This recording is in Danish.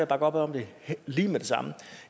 bakke op om det lige med det samme